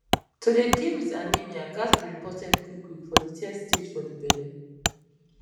to dey deal wit anemia ghats be reported quick quick for de third stage for de belle